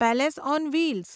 palace on wheels